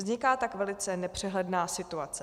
Vzniká tak velice nepřehledná situace.